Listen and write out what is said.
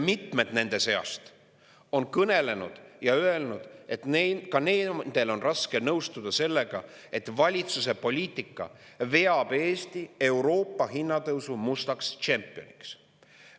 Mitmed nende seast on kõnelenud ja öelnud, et ka nendel on raske nõustuda sellega, et valitsuse poliitika veab Eesti Euroopas hinnatõusu mustaks tšempioniks.